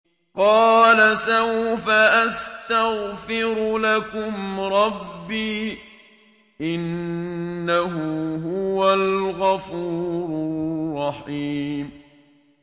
قَالَ سَوْفَ أَسْتَغْفِرُ لَكُمْ رَبِّي ۖ إِنَّهُ هُوَ الْغَفُورُ الرَّحِيمُ